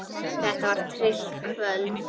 Þetta var tryllt kvöld.